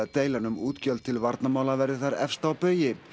deilan um útgjöld til varnarmála verði þar efst á baugi